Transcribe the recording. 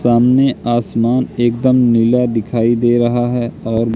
सामने आसमान एकदम नीला दिखाई दे रहा है और--